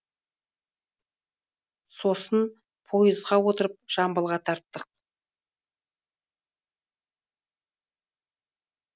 сосын поезға отырып жамбылға тарттық